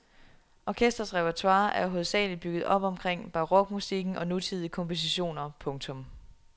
Orkestrets repertoire er hovedsageligt bygget op omkring barokmusikken og nutidige kompositioner. punktum